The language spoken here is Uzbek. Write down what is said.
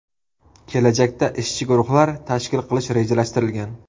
Kelajakda ishchi guruhlar tashkil qilish rejalashtirilgan.